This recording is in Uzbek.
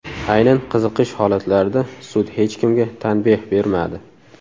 Aynan qizishish holatlarida sud hech kimga tanbeh bermadi.